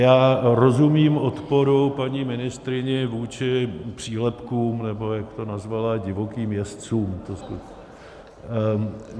Já rozumím odporu paní ministryni vůči přílepkům, nebo jak to nazvala divokým jezdcům.